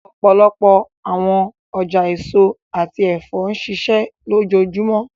Ọpọlọpọ awọn ọja eso ati ẹfọ nṣiṣẹ lojoojumọ,